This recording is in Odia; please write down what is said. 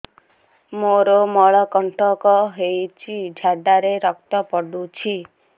ମୋରୋ ମଳକଣ୍ଟକ ହେଇଚି ଝାଡ଼ାରେ ରକ୍ତ ପଡୁଛି